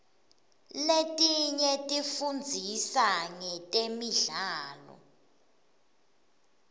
letinye tifundzisa ngetemidlao